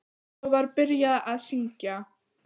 Svo var byrjað að syngja.